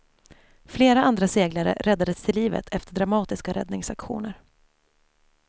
Flera andra seglare räddades till livet efter dramatiska räddningsaktioner.